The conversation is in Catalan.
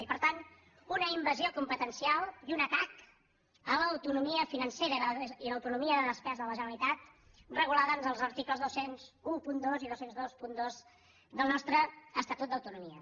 i per tant una invasió competencial i un atac a l’autonomia financera i l’autonomia de despesa de la generalitat regulada en els articles dos mil dotze i dos mil vint dos del nostre estatut d’autonomia